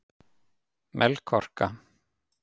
Melkorka